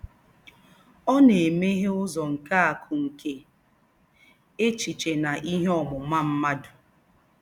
Ọ na-emeghe ụzọ nke akụ nke echiche na ihe ọmụma mmadụ. ”